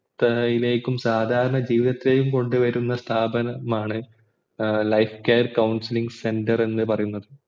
മുക്തതയിലേയും സാധരണ ജീവിതലിലേയും കൊണ്ടുവരുന്ന സ്ഥാപനമാണ് life care counselling center എന്നുപറയുന്നത്